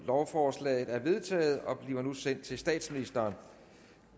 lovforslaget er vedtaget og bliver nu sendt til statsministeren